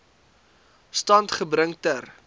stand gebring ter